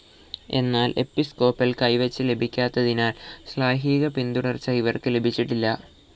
എന്നാൽ എപ്പിസ്കോപ്പൽ കൈവെപ്പ് ലഭിക്കാത്തതിനാൽ ശ്ലൈഹിക പിന്തുടർച്ച ഇവർക്ക് ലഭിച്ചിട്ടില്ല.